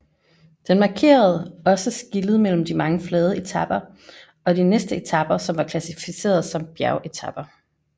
Den markerede også skillet mellem de mange flade etaper og de næste etaper som var klassificeret som bjergetaper